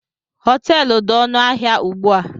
Họteelu dị ọnụ ahịa ugbu a